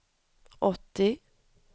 åttio